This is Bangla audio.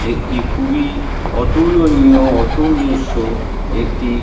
একটি খুবই অতুলনীয় একটি--